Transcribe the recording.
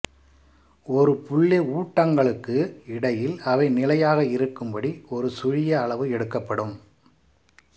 ஒரு புள்ளி ஊட்டங்களுக்கு இடையில் அவை நிலையாக இருக்கும் படி ஒரு சுழிய அளவு எடுக்கப்படும்